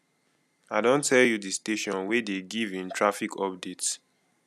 i don tell you di station wey dey given traffic update